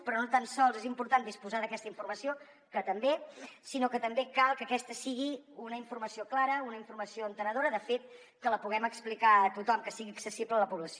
però no tan sols és important disposar d’aquesta informació que també sinó que també cal que aquesta sigui una informació clara una informació entenedora de fet que la puguem explicar a tothom que sigui accessible a la població